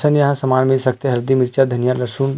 सब यहाँ समान मिल सकता है हल्दी मिर्चा धन्या लसुन।